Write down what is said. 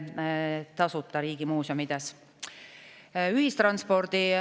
Ühistranspordiseadust samamoodi.